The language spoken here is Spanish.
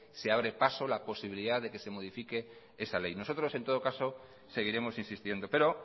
se abre paso la posibilidad de que se modifique esa ley nosotros en todo caso seguiremos insistiendo pero